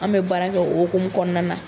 An bɛ baara kɛ o hokmu kɔnɔna na.